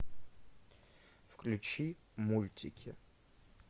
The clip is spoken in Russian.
включи мультики